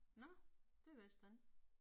Nåh. Det vidste jeg ikke